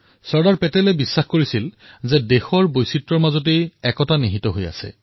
চৰ্দাৰ চাহাবে জানিছিল যে ভাৰতৰ শক্তি ইয়াৰ বৈচিত্ৰতাতেই নিহিত আছে